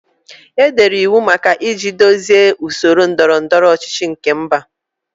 Edere iwu maka iji duzie usoro ndọrọ ndọrọ ọchịchị nke mba.